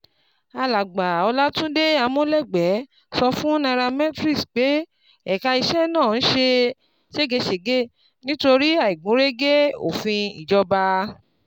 Alàgbà Olatunde Amolegbe sọ fún Nairametrics pé ẹ̀ka iṣẹ́ náà ń ṣe ṣégeṣége nítorí àìgúnrégé òfin ìjọba.